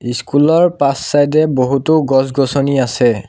ইছস্কুলৰ পাছ চাইদে বহুতো গছ-গছনি আছে।